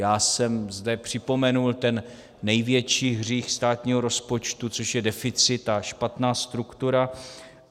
Já jsem zde připomenul ten největší hřích státního rozpočtu, což je deficit a špatná struktura.